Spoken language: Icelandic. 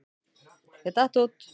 Ég datt út.